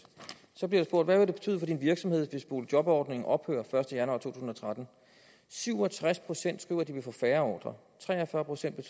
så bliver der spurgt hvad vil det betyde for din virksomhed hvis boligjobordningen ophører den første januar 2013 syv og tres procent skriver at de vil få færre ordrer tre og fyrre procent